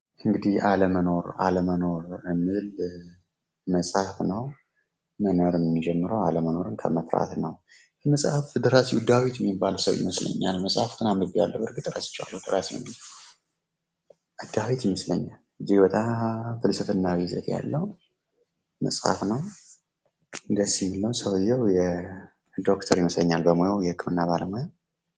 እንግዲህ አለመኖር አለመኖር የሚል መፅሐፍ ነው ። መኖር ሚጀምረው አለመኖርን ከመፍራት ነው ። የመፅሐፉ ደራሲው ዳዊት ሚባል ሰው ይመስለኛል መፅሐፉን አንብቤዋለሁ በርግጥ ረስቸዋለው ደራሲውን ዳዊት ይመስለኛ እጅግ በጣም ፍልስፍናዊ ይዘት ያለው መጽሐፍ ነው ደስ የሚል ነው ሰውዬው ዶክተር ይመስለኛል በሙያው የህክምና ባለሙያ ።